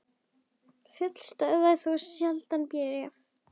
Fjöll stöðva þó sjaldan bréf.